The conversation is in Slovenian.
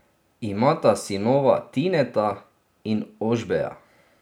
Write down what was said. Imata sinova Tineta in Ožbeja.